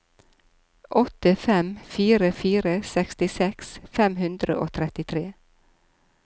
åtte fem fire fire sekstiseks fem hundre og trettitre